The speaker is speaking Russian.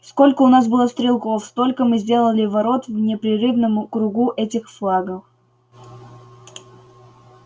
сколько у нас было стрелков столько мы сделали ворот в непрерывном кругу этих флагов